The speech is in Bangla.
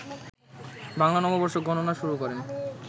বাংলা নববর্ষ গণনা শুরু করেন